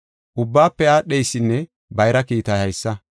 Ubbaafe aadheysinne bayra kiitay haysa.